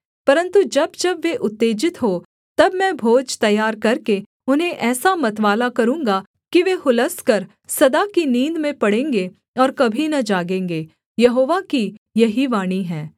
परन्तु जब जब वे उत्तेजित हों तब मैं भोज तैयार करके उन्हें ऐसा मतवाला करूँगा कि वे हुलसकर सदा की नींद में पड़ेंगे और कभी न जागेंगे यहोवा की यही वाणी है